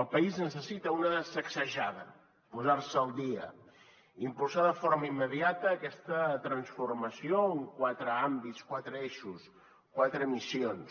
el país necessita una sacsejada posar se al dia i impulsar de forma immediata aquesta transformació en quatre àmbits quatre eixos quatre missions